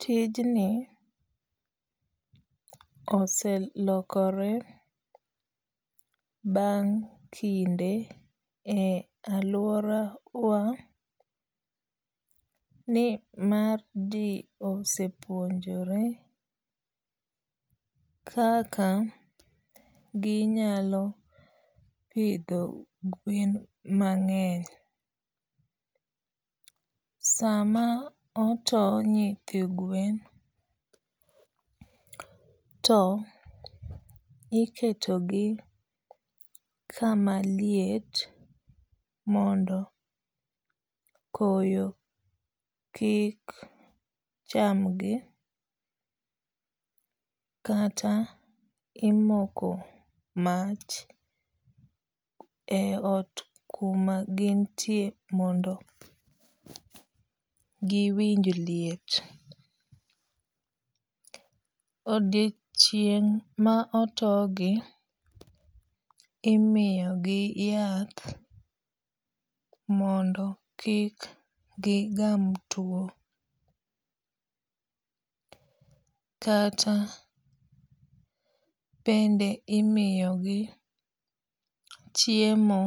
Tijni oselokore bang' kinde e aluora wa ni mar ji osepuonjore kaka ginyalo pidho gwen mang'eny. Sama oto nyithi gwen to iketo gi kama liet mondo koyo ki chamgi kata imoko mach e ot kuma gintie mondo giwinj liet. Odiochieng' ma oto gi imiyo gi yath mondo kik gi gam tuo. Kata bende imiyo gi chiemo